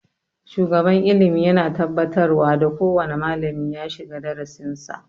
Shugaban ilimi yana tabbatarwa da kowane malami ya shiga darasin sa